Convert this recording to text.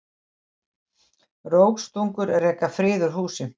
Rógstungur reka frið úr húsi.